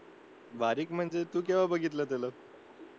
बारीक म्हणजे तू केव्हा बघितलं त्याला